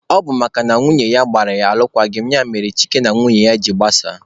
Ọ bụ makana nwunye ya gbara ya alụkwaghịm ya mere Chike na nwunye ya jiri gbasaa.